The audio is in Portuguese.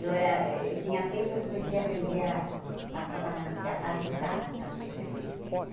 Eu era eu tinha tempo e comecei a aprender a a trabalhar no Cê á, a ajudar as tecelãs.